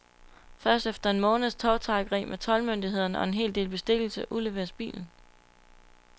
Først efter en måneds tovtrækkeri med toldmyndighederne og en hel del bestikkelse udleveres bilen.